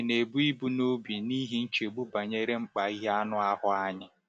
Ị̀ na-ebu ibu n’obi n’ihi nchegbu banyere mkpa ihe anụ ahụ anyị?